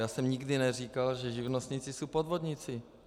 Já jsem nikdy neříkal, že živnostníci jsou podvodníci.